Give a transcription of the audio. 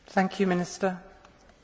Deux questions, deux réponses.